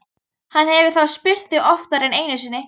Hann hefur þá spurt þig oftar en einu sinni?